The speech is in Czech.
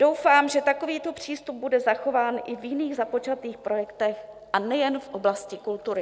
Doufám, že takovýto přístup bude zachován i v jiných započatých projektech, a nejen v oblasti kultury.